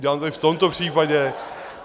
Udělám to i v tomto případě.